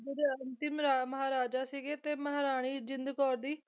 ਮਹਾਰਾਜਾ ਸੀਗੇ ਤੇ ਮਹਾਰਾਣੀ ਜਿੰਦ ਕੌਰ ਦੀ